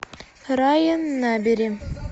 райан набери